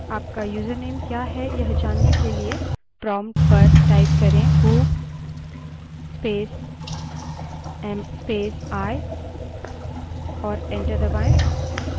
आपका username username क्या है यह जानने के लिए prompt पर who space am space i type करें और enter दबायें